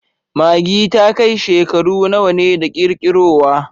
Maggi ta kai shekaru nawa ne da kirkirowa?